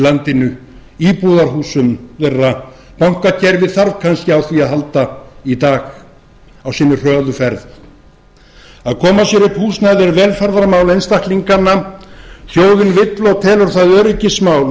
landinu íbúðarhúsum þeirra bankakerfið þarf kannski á því að halda í dag á sinni hröðu ferð að koma sér upp húsnæði er velferðarmál einstaklinganna þjóðin vill og telur það öryggismál að